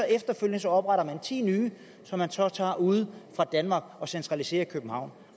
efterfølgende opretter man ti nye som man så tager ude fra danmark og centraliserer i københavn